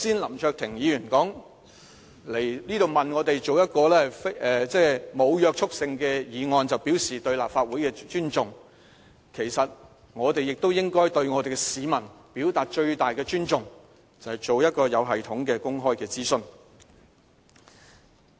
林卓廷議員剛才批評政府，指它向立法會提交一項沒有約束力的議案，便表示它尊重立法會，其實我們亦應對市民表達最大的尊重，就是進行一個有系統的公開諮詢。